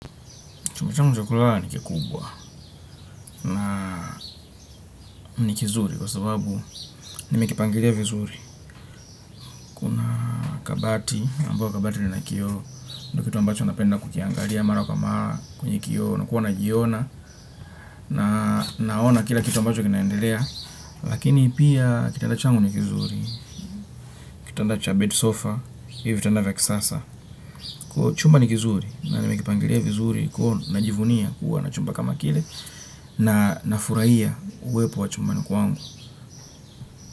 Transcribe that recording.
Chuma changu cha kulala nikikubwa na nikizuri kwa sababu nimekipangilia vizuri. Kabati, ambayo kabati lina kio, ndio kitu ambacho napenda kukiangalia mara kama kwenye kio na kuwa na jiona na naona kila kitu ambacho kinaendelea. Lakini pia kitanda changu nikizuri, kitanda cha bed sofa, hivyo vitanda vya kisasa. Kwa chumba nikizuri na nimekipangilia vizuri kuona, najivunia, kuwa, nachumba kama kile na nafurahia uwepo wachumbani kwangu.